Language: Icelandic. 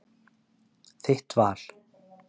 Þitt val.